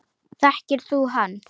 Þekkir þú hann?